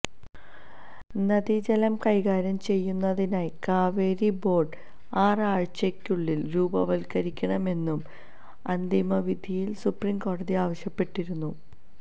നദീജലം കൈകാര്യം ചെയ്യുന്നതിനായി കാവേരി ബോര്ഡ് ആറാഴ്ചയ്ക്കുള്ളില് രൂപവത്കരിക്കണമെന്നും അന്തിമവിധിയില് സുപ്രിംകോടതി ആവശ്യപ്പെട്ടിരുന്നു